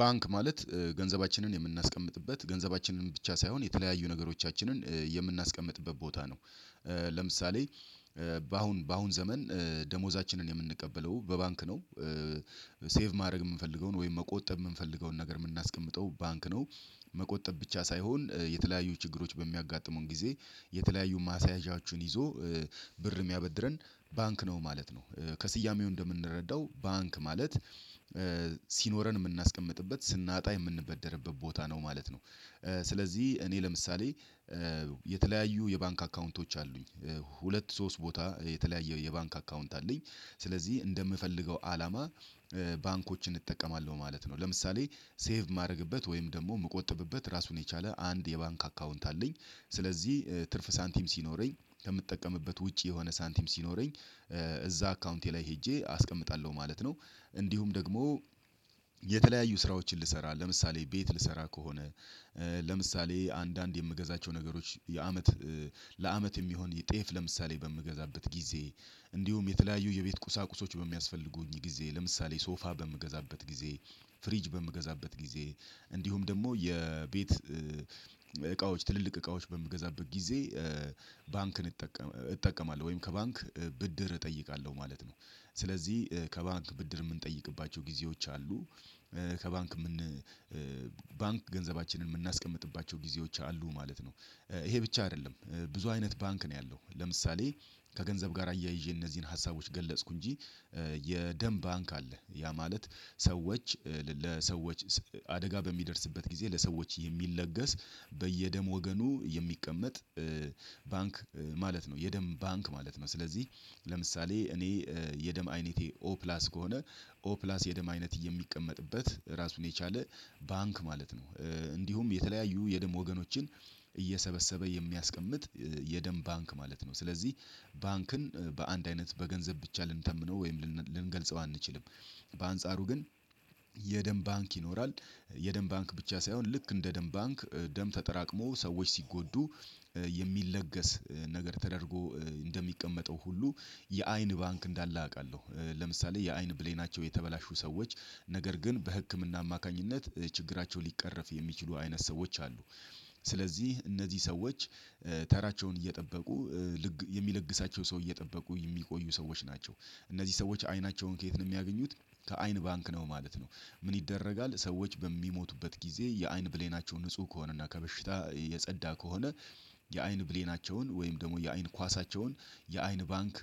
ባንክ ማለት ገንዘባችንን የምናስቀምጥበት ገንዘባችንን ብቻ ሳይሆን የተለያዩ ነገሮቻችንን የምናስቀምጥበት ቦታ ነው። ለምሳሌ በአሁን በአሁን ዘመን ደሞዛችንን የምንቀበለው በባንክ ነው። ሴቭ ማድረግ እምንፈልገውን ወይም መቆጠብ የምንፈልገውን ነገር እምናስቀምጠው ባንክ ነው። መቆጠብ ብቻ ሳይሆን የተለያዩ ችግሮች በሚያጋጥሙን ጊዜ የተለያዩ ማስያዣዎችን ይዞ ብርም እሚያበድረን ባንክ ነው ማለት ነው። ከስያሜው እንደምንረዳው ባንክ ማለት ሲኖረን እምናስቀምጥበት ስናጣ የምንበደርበት ቦታ ነው ማለት ነው። ስለዚህ እኔ ለምሳሌ የተለያዩ የባንክ አካውንቶች አሉኝ ሁለት ሶስት ቦታ የተለያየ የባንክ አካውንት አለኝ ስለዚህ እንደምፈልገው አላማ ባንኮችን እጠቀማለሁ ማለት ነው። ለምሳሌ ሴቭ ማረግበት ወይም ደግሞ እምቆጠብበት ራሱን የቻለ አንድ የባንክ አካውንት አለኝ ስለዚህ ትርፍ ሳንቲም ሲኖረኝ ከምጠቀምበት ውጪ የሆነ ሳንቲም ሲኖረኝ እዛ አካውንቴ ላይ ሄጄ አስቀምጣለሁ ማለት ነው። እንዲሁም ደግሞ የተለያዩ ስራዎችን ልሰራ ለምሳሌ ቤት ልሰራ ከሆነ ለምሳሌ አንዳንድ የምገዛቸው ነገሮች የአመት ለአመት የሚሆን ጤፍ ለምሳሌ በምገዛበት ጊዜ እንዲሁም የተለያዩ የቤት ቁሳቁሶች በሚያስፈልጉኝ ጊዜ ለምሳሌ ሶፋ በምገዛበት ጊዜ ፍሪጅ በምገዛበት ጊዜ እንዲሁም ደግሞ የቤት እቃዎች ትልልቅ እቃዎች በምገዛበት ጊዜ ባንክን እጠቀማለሁ ወይም ከባንክ ብድር እጠይቃለሁ ማለት ነው። ስለዚህ ከባንክ ብድር እምንጠይቅባቸው ጊዜዎች አሉ ከባንክ ምን ባንክ ገንዘባችንን እምናስቀምጥባቸው ጊዜዎች አሉ ማለት ነው። ይሄ ብቻ አይደለም ብዙ አይነት ባንክ ነው ያለው ለምሳሌ ከገንዘብ ጋር አያይዤ እነዚህን ሀሳቦች ገለጽኩ እንጂ። የደም ባንክ አለ ያ ማለት ሰዎች ለሰዎች አደጋ በሚደርስበት ጊዜ ለሰዎች የሚለገስ በየደም ወገኑ የሚቀመጥ ባንክ ማለት ነው። የደም ባንክ ማለት ነው ስለዚህ ለምሳሌ እኔ የደም አይነቴ ኦፕላስ ከሆነ ኦፕላስ የደም አይነት የሚቀመጥበት ራሱን የቻለ ባንክ ማለት ነው። እንዲሁም የተለያዩ የደም ወገኖችን እየሰበሰበ የሚያስቀምጥ የደም ባንክ ማለት ነው። ስለዚህ ባንክን በአንድ አይነት በገንዘብ ብቻ ልንተምነው ወይም ልንገልጸው አንችልም። በአንጻሩ ግን የደም ባንክ ይኖራል። የደም ባንክ ብቻ ሳይሆን ልክ እንደ ደም ባንክ ደም ተጠራቅሞ ሰዎች ሲጎዱ የሚለገስ ነገር ተደርጎ እንደሚቀመጠው ሁሉ የአይን ባንክ እንዳለ አቃለሁ ለምሳሌ የአይን ብሌናቸው የተበላሹ ሰዎች ነገር ግን በህክምና አማካኝነት ችግራቸው ሊቀረፍ የሚችሉ አይነት ሰዎች አሉ ስለዚህ እነዚህ ሰዎች ተራቸውን እየጠበቁ የሚለግሳቸው ሰው እየጠበቁ እሚቆዩ ሰዎች ናቸው። እነዚህ ሰዎች አይናቸውን ከየት ነው እሚያገኙት ከአይን ባንክ ነው ማለት ነው። ምን ይደረጋል ሰዎች በሚሞቱበት ጊዜ የአይን ብሌናቸው ንጹህ ከሆነና ከበሽታ የጸዳ ከሆነ የአይን ብሌናቸውን ወይም ደግሞ የአይን ኳሳቸውን የአይን ባንክ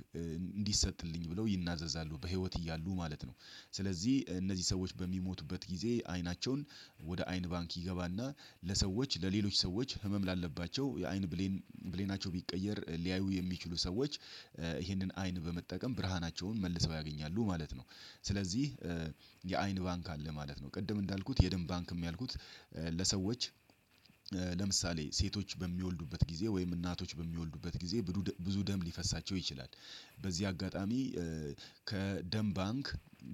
እንዲሰጥልኝ ብለው ይናዘዛሉ በህይወት እያሉ ማለት ነው። ስለዚህ እነዚህ ሰዎች በሚሞቱበት ጊዜ አይናቸውን ወደ አይን ባንክ ይገባና ለሰዎች ለሌሎች ሰዎች ህመም ላለባቸው የአይን ብሌን ብሌናቸው ቢቀየር ሊያዩ የሚችሉ ሰዎች ይህንን አይን በመጠቀም ብርሃናቸውን መልሰው ያገኛሉ ማለት ነው። ስለዚህ የአይን ባንክ አለ ማለት ነው። ቅድም እንዳልኩት የደም ባንክም ያልኩት ለሰዎች ለምሳሌ ሴቶች በሚወልዱበት ጊዜ ወይም እናቶች በሚወልዱበት ጊዜ ብዙ ደም ሊፈሳቸው ይችላል በዚህ አጋጣሚ ከደም ባንክ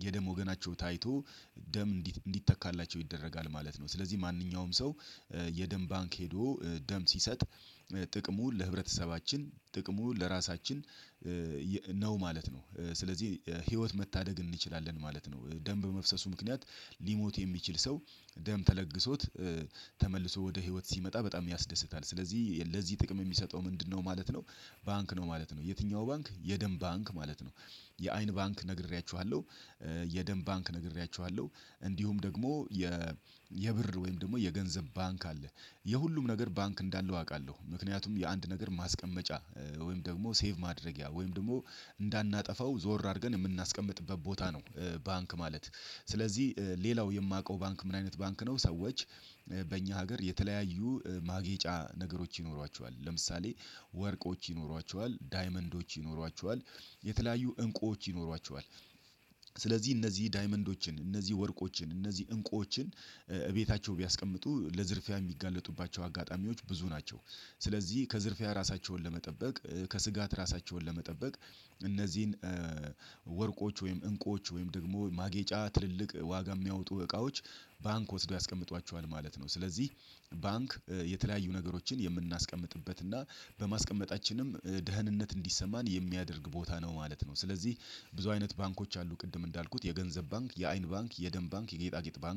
የደም ወገናቸው ታይቶ ደም እንዲተካላቸው ይደረጋል ማለት ነው። ስለዚህ ማንኛውም ሰው የደም ባንክ ሄዶ ደም ሲሰጥ ጥቅሙን ለህብረተሰባችን ጥቅሙ ለራሳችን ነው ማለት ነው። ስለዚህ ህይወት መታደግ እንችላለን ማለት ነው። ደም መፍሰሱ ምክንያት ሊሞት የሚችል ሰው ደም ተለግሶት ተመልሶ ወደ ህይወት ሲመጣ በጣም ያስደስታል ስለዚህ ለዚህ ጥቅም እሚሰጠው ምንድነው ማለት ነው ባንክ ነው ማለት ነው። የትኛው ባንክ የደም ባንክ ማለት ነው የአይን ባንክ ነግሬያችኋለሁ። የደን ባንክ ነግሬያችኋለሁ። እንዲሁም ደግሞ የ የብር ወይም ደግሞ የገንዘብ ባንክ አለ የሁሉም ነገር ባንክ እንዳለው አቃለሁ ምክንያቱም የአንድ ነገር ማስቀመጫ ወይም ደግሞ ሴቭ ማድረጊያ ወይም ደግሞ እንዳናጠፋው ዞር አርገን እምናስቀምጥበት ቦታ ነው። ባንክ ማለት ስለዚህ ሌላው የማውቀው ባንክ ምን አይነት ባንክ ነው ሰዎች በእኛ ሀገር የተለያዩ ማጌጫ ነገሮች ይኖሯቸዋል ለምሳሌ ወርቆች ይኖሯቸዋል ዳይመንዶች ይኖሯቸዋል የተለያዩ እንቁዎች ይኖሯቸዋል። ስለዚህ እነዚህ ዳይመንዶችን እነዚህ ወርቆችን እነዚህ እንቆችን እቤታቸው ቢያስቀምጡ ለዝርፊያ እሚጋለጡባቸው አጋጣሚዎች ብዙ ናቸው። ስለዚህ ከዝርፊያ ራሳቸውን ለመጠበቅ ከስጋት ራሳቸውን ለመጠበቅ እነዚህን ወርቆች ወይም እንቁዎች ወይም ደግሞ ማጌጫ ትልልቅ ዋጋ የሚያወጡ እቃዎች ባንክ ወስዶ ያስቀምጧቸዋል ማለት ነው። ስለዚህ ባንክ የተለያዩ ነገሮችን የምናስቀምጥበት እና በማስቀመጣችንም ደህንነት እንዲሰማን የሚያደርግ ቦታ ነው ማለት ነው። ስለዚህ ብዙ አይነት ባንኮች አሉ ቅድም እንዳልኩት የገንዘብ ባንክ የአይን ባንክ የደም ባንክ የጌጣጌጥ ባንክ